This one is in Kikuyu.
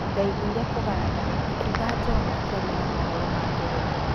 "Ndaiguire kũganda," akiuga John akĩaria na mohoro ma Ngeretha.